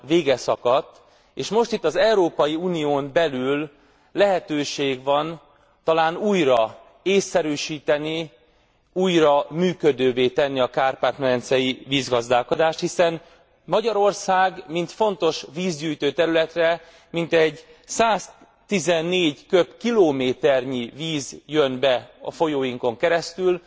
vége szakadt, és most itt az Európai Unión belül lehetőség van talán újra ésszerűsíteni, újra működővé tenni a kárpát medencei vízgazdálkodást, hiszen Magyarországra mint fontos vízgyűjtő területre mintegy 114 köbkilométernyi víz jön be a folyóinkon keresztül,